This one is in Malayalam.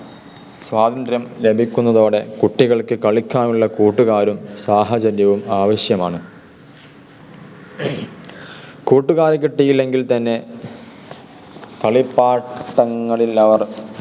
സ്വാതന്ത്ര്യം ലഭിക്കുന്നതോടെ കുട്ടികൾക്ക് കളിക്കാനുള്ള കൂട്ടുകാരും സാഹചര്യവും ആവശ്യമാണ്. കൂട്ടുകാരെ കിട്ടിയില്ലെങ്കിൽ തന്നെ കളിപ്പാട്ടങ്ങളിൽ അവർ